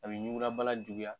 A bɛ ɲugubana juguya